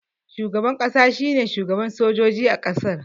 Shugaban ƙasa shine shugaban sojoji a ƙasar